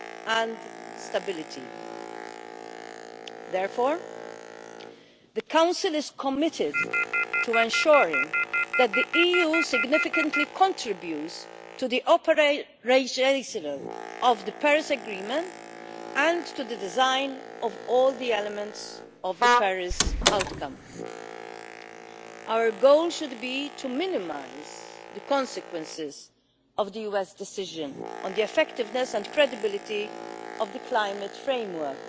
and stability. Therefore the Council is committed to ensuring that the EU significantly contributes to the optimalisation of the Paris Agreement and to the design of all the elements of the Paris outcome. Our goal should be to minimise the consequences of the US decision on the effectiveness and credibility of the climate framework.